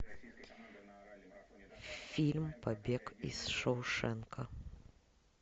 фильм побег из шоушенка